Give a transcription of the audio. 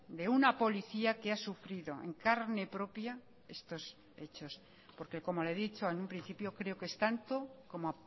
de una policía que ha sufrido en carne propia estos hechos porque como le he dicho en un principio creo que es tanto como